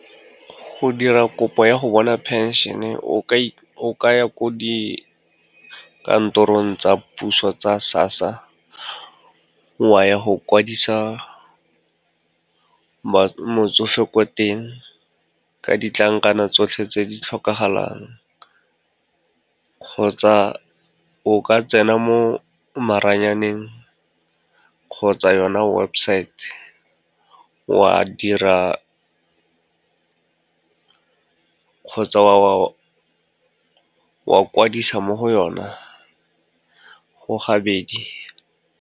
Go dira kopo ya go bona phenšene o ka ya ko dikantorong tsa puso tsa SASSA, wa ya go kwadisa motsofe ko teng ka ditlankana tsotlhe tse di tlhokagalang, kgotsa o ka tsena mo maranyaneng kgotsa yona websaete, kgotsa wa kwadisa mo go yona, go gabedi.